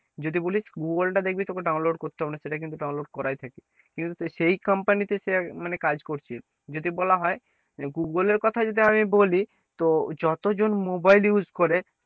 যদি বলিস google টা দেখবি তোকে download করতে হবেনা সেটা কিন্তু download করাই থাকে কিন্তু সেই company সে মানে কাজ করছে যদি বলা হয় যে google এর কথা যদি আমি বলি তো যত জন mobile use করে,